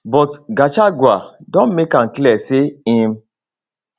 but gachagua don make am clear say im